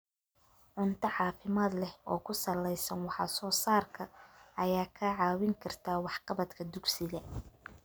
Cunto caafimaad leh oo ku salaysan wax soo saarka ayaa kaa caawin karta waxqabadka dugsiga.